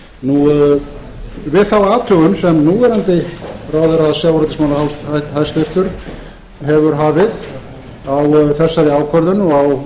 í samfélaginu við þá athugun sem núverandi hæstvirtum ráðherra sjávarútvegsmála hefur hafið á þessari ákvörðun og á